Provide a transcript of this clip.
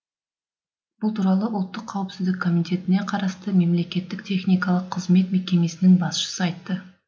бұл туралы ұлттық қауіпсіздік комитетіне қарасты мемлекеттік техникалық қызмет мекемесінің басшысы айтты